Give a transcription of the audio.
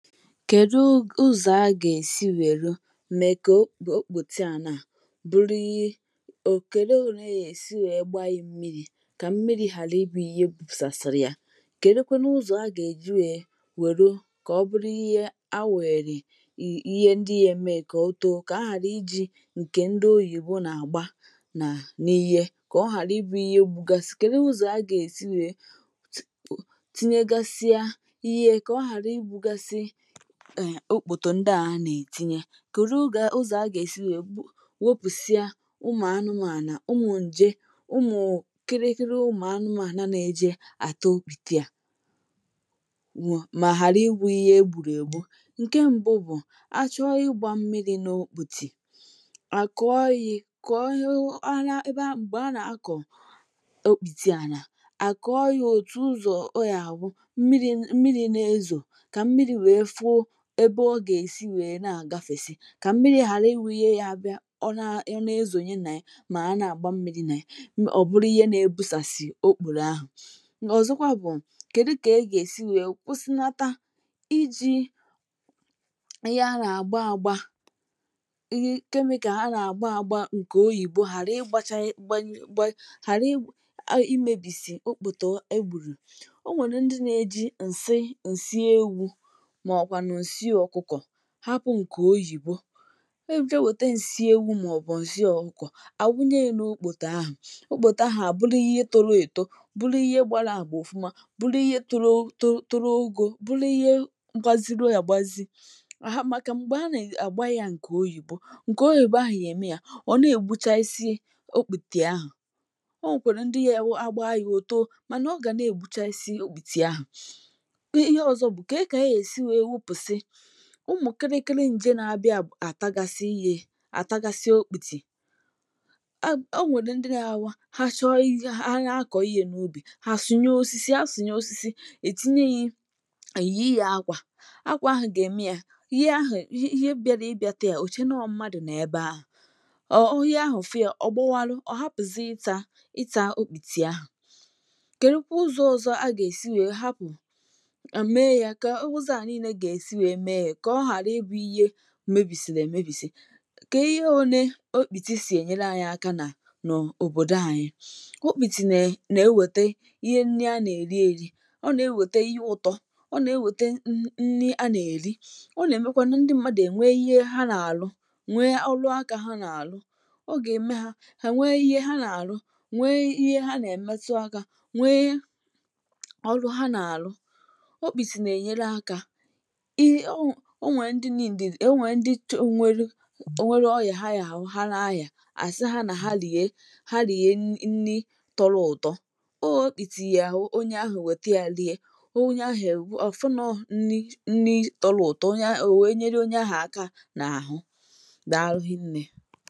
Kèdu ụzọ a gà-èsi wèru mee kà o okpòtìa àna bụrụ ihe? ò, Kèdu ọ ne anya èsi wee gbaa ya mmiri kà mmiri ghàra ibù ihe gbùsàsịrị ya?. Kèdu kwanu ụzọ a gà-èji wee wèru kà ọ bụrụ ihe a wunyerè i ihe ndị ya mee kà otọọ?, kà ahàra ijì ǹkè ndị oyìbo nà-àgba nà n’ihe, kà ọ ghàra ibù ihe gbùgasi. Kedu ụzọ a gà-èsi wee tinyegasịa ihe kà ọ ghàra i gbùgàsị um okpòtìa ndị à nà-ètinye? Kedu ụgà, ụzọ a gà-èsi wee wopùsịa ụmụ anụmànà, ụmụ nje, ụmụ kirikiri ụmụ anụmànà na-eje àta okpòtìa, mà ghàra ihù ihe egbùrù ègbu. Ǹkè mbụ bụ, achọ ịgbà mmiri n’okpòtì à kọọ ihì kọọ ihe ebe a m̀gbè a nà-akọ okpòtìa nà à kọọ ha òtù ụzọ oyàwụ mmiri mmiri nà-ezọ, ka mmiri wee fu ebe ọ gà-èsi wèe na-àgafèsị, Kà mmiri ghàra ị wù ihe ya bịa; ọ naa, e nà-ezònye nà ya ma na-àgba mmiri nà ya, ọ bụrụ ihe nà-ebùsàsị okpòrò ahụ. Ọ̀zọkwa bụ, kèdu kà e gà-èsi wèe kwụsịnata ijì ihe nà-àgba àgba i, chemical ha nà-àgba àgba ǹkè oyìbo ghàra ịgbàchà ịgbanye gba ghàra imèbìsì okpòtò e gbùrù? O nwèrè ndị nà-ejì ǹsi ǹsi ewù ma ọkwanu nsi okuko hapụ ǹkè oyìbo eje wète ǹsị ewù mà ọ bụ nsi okuko, à wụnye n’okpòtè ahụ, okpòtè ahụ à bụrụ ihe toro èto, bụrụ ihe gbàra àgba òfuma, bụrụ ihe toro to toro ogọ, bụrụ ihe gbaziru agbazi, à màkà m̀gbè a nà-àgba ya ǹkè oyìbo ǹkè oyìbo ahụ ya ème ya; ọ na-ègbuchasi okpùtè ahụ...Onwè kwere ndị ya wụ agba ya o too màna ọ gà na-ègbuchasị okpùtè ahụ. Ihe ọzọ bụ ke ke yè èsi wee wụpụsi ụmụ kịrịkịrị nje na-abịa bụ àtagasị ihè, àtagasị okpùtì. um O nwèrè ndị ghaawa ha chọọ ha akọ ihè n’ubì ha àsụnye osisi ha sụnyè osisi, ètinye yì eyịyì hà akwà, akwà ahụ gà-ème a ihe ahụ ihe ihe bịara ịbịa tà a òche nọ mmadụ nọ ebe ahụ; ọ ihe ahụ fụ a, ọgbọwalụ, ọ hapụzị ità ità okpùti ahụ. Kèdu kwu ụzọ ọzọ a gà-èsi wèe hapụ, ème ya, ka ụzọ a niile gà-èsi wee mee ya ka ọ hara ibụ ihe mebìsìri èmebìsì, kà ihe ọ ne okpùti sì ènyela anyị aka nà n’òbòdò anyị. Okpùti nà nà-ewète ihe nni a nà-èri eri; ọ nà ewète ihe ụtọ; ọ nà ewète nni nni a nà-èri; ọ nà-èmekwanụ ndị mmadù ènwe ihe ha nà-àru, nwe ọlụaka ha nà-àru; ọ gà-ème ha hà nwe ihe ha nà-àru, nwe ihe ha nà-èmetụ aka nwe ọrụ ha nà-àru. Okpùti n'enyere aka ị onwe, onwe ndị need e, onwe ndị, chò nwèru, nwèru ọya hà yahụ ha na aya àsi ha nà ha rìe, ha rìe nni nni tọrọ ụtọ. O okpùti ya hụ onye ahụ nwèti a rìe, onye ahụ è, ọfụ nọ nni nni tọrọ ụtọ. Onye ahụ, o wèe nyere onye ahụ aka nà ahụ, dàlu rinne.